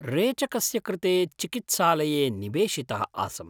रेचकस्य कृते चिकित्सालये निवेशितः आसम्।